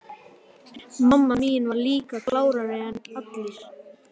Mamma mín var líka klárari en allir.